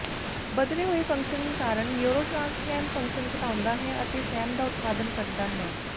ਬਦਲੇ ਹੋਏ ਫੰਕਸ਼ਨ ਕਾਰਨ ਨਿਊਰੋਟ੍ਰਾਨਸਮੈਨ ਫੰਕਸ਼ਨ ਘਟਾਉਂਦਾ ਹੈ ਅਤੇ ਸੈਮ ਦਾ ਉਤਪਾਦਨ ਘਟਦਾ ਹੈ